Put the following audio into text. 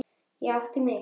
Og ég átti mig.